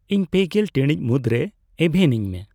ᱤᱧ ᱯᱮᱜᱮᱞ ᱴᱤᱬᱤᱡ ᱢᱩᱫᱨᱮ ᱮᱵᱷᱮᱱ ᱤᱧᱢᱮ